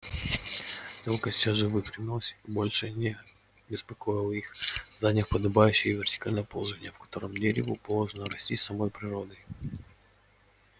ёлка сейчас же выпрямилась и больше не беспокоила их заняв подобающее ей вертикальное положение в котором дереву положено расти самой природой